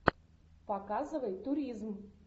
показывай туризм